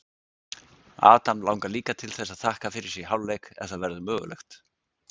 Adam langar líka til þess að þakka fyrir sig í hálfleik ef það verður mögulegt.